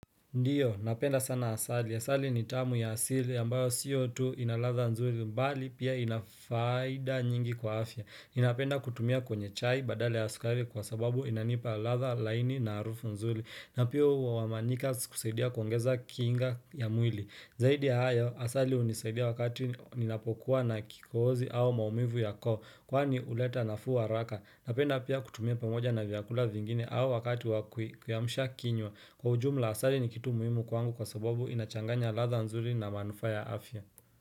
Ndio, napenda sana asali. Asali ni tamu ya asili ambayo sio tu inaladha nzuli mbali pia inafaida nyingi kwa afya. Inapenda kutumia kwenye chai badala ya skari kwa sababu inanipa ladha laini na arufu nzuli. Na pia huamanika kusaidia kuongeza kinga ya mwili. Zaidi ya haya, asali hunisaidia wakati ninapokuwa na kikoozi au maumivu ya koo, kwani uleta nafuu haraka. Napenda pia kutumia pamoja na vyakula vingine au wakati wakui kuiamsha kinywa. Kwa ujumla asali ni kitu muhimu kwangu kwa sababu inachanganya ladha nzuri na manufaa ya afya.